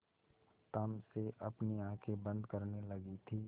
तम से अपनी आँखें बंद करने लगी थी